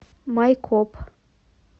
майкоп